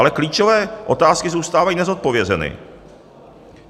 Ale klíčové otázky zůstávají nezodpovězeny.